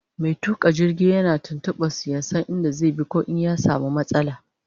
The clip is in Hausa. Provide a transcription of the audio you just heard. Mai tuƙa jirgi yakan tuntuɓe su Dan ya San in da zai bi koh in ya samu matsala